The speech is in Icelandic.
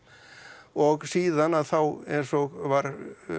og síðan að þá eins og var